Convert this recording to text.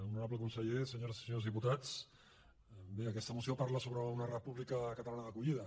honorable conseller senyores i senyors diputats bé aquesta moció parla sobre una república catalana d’acollida